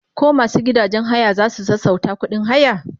koh masu gidajen haya zasu sassauta ƙuɗin haya?